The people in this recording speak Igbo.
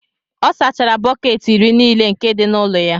ọ sachara bọket iri nile nke di n'ulo-ya